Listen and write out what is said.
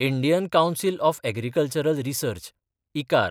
Indian council of agricultural research (इकार)